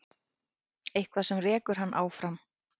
Eitthvað sem rekur hann áfram.